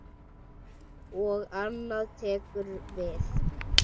Og annað tekur við.